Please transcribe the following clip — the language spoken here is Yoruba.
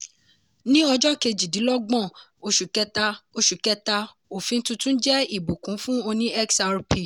ní ọjọ́ kejidínlógbọ̀n oṣù kẹta oṣù kẹta òfin tuntun jẹ́ ìbùkún fún oní xrp.